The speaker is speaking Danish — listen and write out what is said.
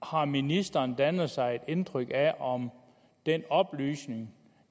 har ministeren dannet sig et indtryk af om den oplysning